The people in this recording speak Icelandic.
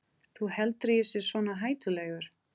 Þú heldur að ég sé svona hættulegur?